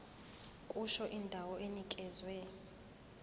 kusho indawo enikezwe